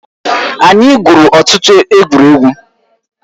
Anyị gwụrụ ọtụtụ egwuregwu